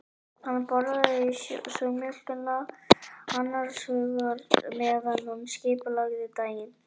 Hann borðaði súrmjólkina annars hugar meðan hann skipulagði daginn.